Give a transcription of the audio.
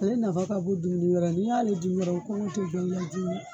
Ae nafa ka bon dumuni wɛrɛ ye n'i y'ale dun dɔrɔn kɔngɔ tɛ jɔ i la